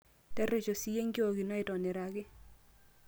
terresho siiyie enkiok ino aitoniraki